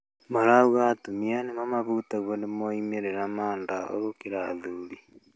Marauga atumia nĩo mahutagio nĩ moimĩrĩro ya ndawa gũkĩra athuri